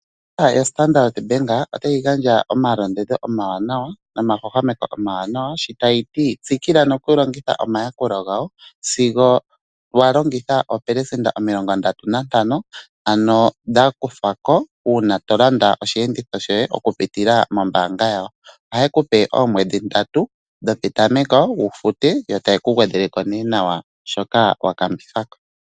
Ombanga yaStandard bank otayi gandja omalondodho omawanawa noma hwahwameko omawanawa. Shi tayi ti tsikila moku longitha omayakulo gawo sigo wa longitha opercent omilongo ndatu nantano. Ano dha kuthwako una to landa osheenditho shoye oku pitila mombanga yawo. Ohaye kupe omweedhi ndatu dho petameko wu fute yo taye ku gwedheleko nee nawa shoka wa kambithako.